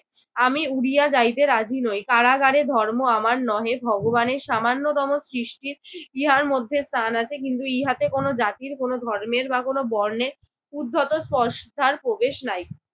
আমি উড়িয়া যাইতে রাজি নই। কারাগারে ধর্ম আমার নহে। ভগবানের সামান্যতম সৃষ্টি ইহার মধ্যে স্থান আছে কিন্তু ইহাতে কোন জাতির কোন ধর্মের বা কোন বর্ণের উদ্ধত স্পর্শদ্বার প্রবেশ নাই।